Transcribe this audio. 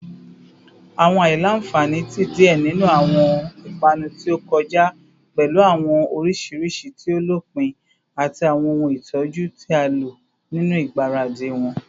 Awọn aila-nfani ti diẹ ninu awọn ipanu ti o kọja pẹlu awọn orisirisi ti o lopin ati awọn ohun itọju ti a lo ninu igbaradi wọn